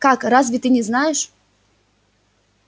как разве ты не знаешь